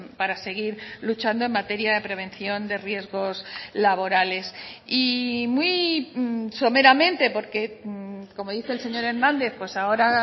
para seguir luchando en materia de prevención de riesgos laborales y muy someramente porque como dice el señor hernández pues ahora